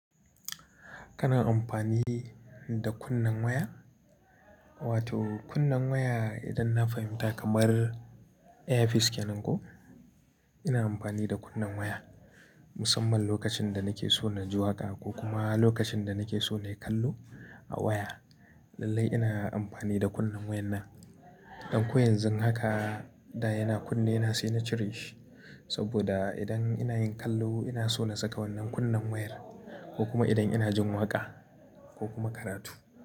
Kana amfani da kunnen waya? Wato kunna waya idan na fahimta kamar ear piece kenan ko? Ina amfani da kunnen waya musamman lokacin da nake so na ji waƙa ko kuma lokacin da nake so na yi kallo a waya. Lallai ina amfani da kunnen wayan nan. Dan ko yanzu haka da yana kunne na sai na cire shi. Saboda idan ina yin kallo ina so na saka wannan kunnen wayar ko kuma idan ina jin waƙa ko kuma karatu.